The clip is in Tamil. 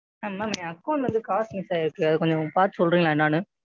ஆ Ma'am என் Account ல இருந்து காசு ஆயிருச்சு அதைக் கொஞ்சம் பாத்து சொல்றீங்களா என்னன்னு?